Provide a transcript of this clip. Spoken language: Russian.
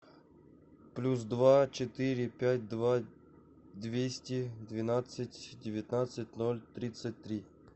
плюс два четыре пять два двести двенадцать девятнадцать ноль тридцать три